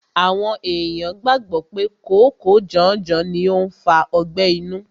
Àwọn ènìyàn gbàgbọ́ pé kòóko janjan ni ó ń fa ọgbẹ́ inú.